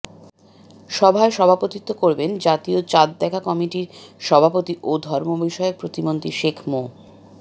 সভায় সভাপতিত্ব করবেন জাতীয় চাঁদ দেখা কমিটির সভাপতি ও ধর্মবিষয়ক প্রতিমন্ত্রী শেখ মো